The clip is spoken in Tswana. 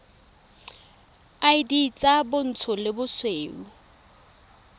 id tsa bontsho le bosweu